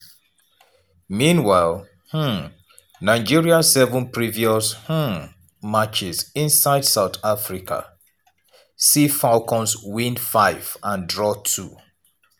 meanwhile um nigeria seven previous um matches inside south africa see falcons win five and draw two.